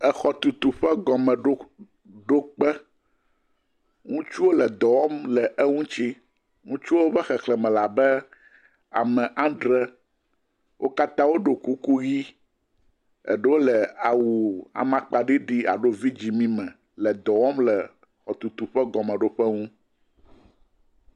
Exɔtutu ƒe gɔmeɖokpe. Ŋutsuwo le dɔ wɔm le eŋuti. Ŋutsuwo ƒe xexlẽme le abe ame adre, wo katã woɖo kuku ʋɛ̃. Eɖewo le awu amakpa alo vidzɛ̃ mi me le dɔ wɔm le exɔtutu ƒe gɔmɔɖoƒe ŋu.